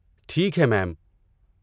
ٹھیک ہے، میم۔